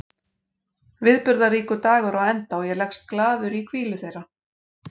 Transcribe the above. Viðburðaríkur dagur er á enda og ég leggst glaður í hvílu þeirra.